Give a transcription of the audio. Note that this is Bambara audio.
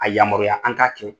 A yamaruya an ka kɛ.